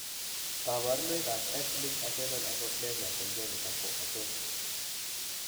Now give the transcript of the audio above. Kaborunoik ab x linked adrenal hypoplasia congenita ko achon ?